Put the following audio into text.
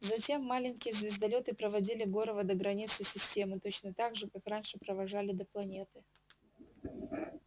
затем маленькие звездолёты проводили горова до границы системы точно так же как раньше провожали до планеты